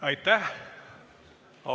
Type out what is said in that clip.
Aitäh!